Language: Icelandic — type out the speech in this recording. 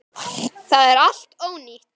Það er allt ónýtt.